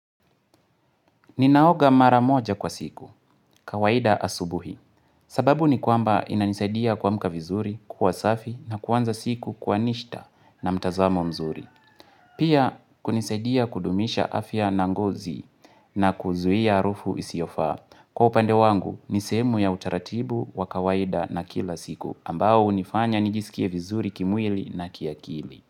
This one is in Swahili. Ninaoga mara moja kwa siku, kawaida asubuhi, sababu ni kwamba inanisaidia kwa mka vizuri, kwa safi na kwanza siku kwa nishta na mtazamo mzuri. Pia, kunisaidia kudumisha afya na ngozi na kuzuia harufu isiyofa. Kwa upande wangu, nisemu ya utaratibu wa kawaida na kila siku, ambao unifanya nijisikie vizuri kimwili na kiakili.